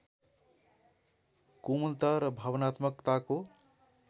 कोमलता र भावनात्मकताको